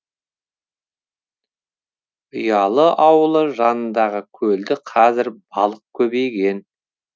ұялы ауылы жанындағы көлде қазір балық көбейген